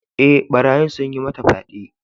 E, barayin sun yi mata fyaɗe.